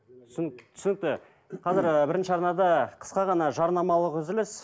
түсінікті қазір ыыы бірінші арнада қысқа ғана жарнамалық үзіліс